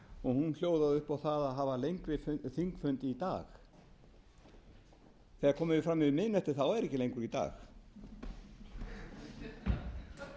og hún hljóðaði upp á það að hafa lengri þingfund í dag þegar komið er fram yfir miðnætti þá er ekki lengur í dag